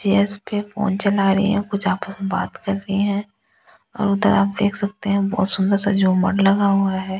GS पे phone चला रही है कुछ आपस में बात कर रही हैं और उधर आप देख सकते हैं बहुत सुंदर सा झूमर लगा हुआ है।